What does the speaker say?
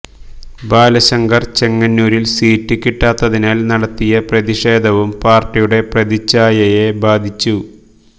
ബാലശങ്കർ ചെങ്ങന്നൂരിൽ സീറ്റ് കിട്ടാത്തതിനാൽ നടത്തിയ പ്രതിഷേധവും പാർട്ടിയുടെ പ്രതിഛായയെ ബാധിച്ചു